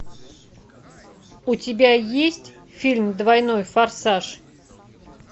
у тебя есть фильм двойной форсаж